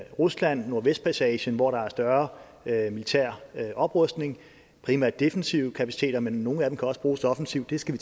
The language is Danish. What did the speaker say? rusland nordvestpassagen hvor der er større militær oprustning primært defensive kapaciteter men nogle af dem kan også bruges offensivt det skal